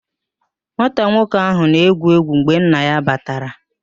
Nwata nwoke ahụ na-egwu egwu mgbe nna ya batara